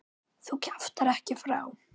Þú kjaftar ekki frá!